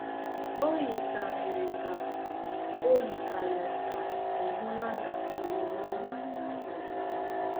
O yikarịrị ka O yikarịrị ka ị hụla na omume ọma na-adaba.